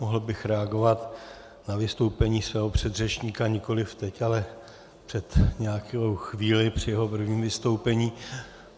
Mohl bych reagovat na vystoupení svého předřečníka nikoliv teď, ale před nějakou chvílí při jeho prvním vystoupení.